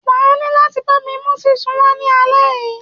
Wà á ní láti bámi mú ṣísù wá ní alẹ́ yìí.